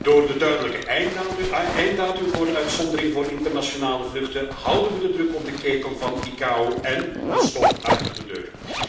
Door de duidelijke einddatum voor de uitzondering voor internationale vluchten houden we de druk op de ketel van ICAO en een stok achter de deur.